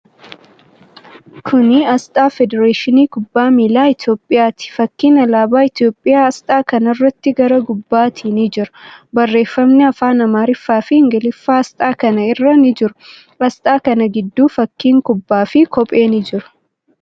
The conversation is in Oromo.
Kuni aasxaa federeeshinii kubbaa miilaa Itiyoophiyyaati. Fakkiin alaabaa Itiyoophiyyaa aasxaa kanaratti gara gubbaatin ni jira. Barreeffamni afaan Amaariffaa fi Ingiliffaa aasxaa kana irra ni jiru. Aasxaa kana gidduu fakkiin kubbaa fi kophee ni jiru.